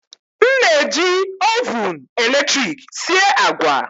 M na-eji Ovụn eletrik sie agwa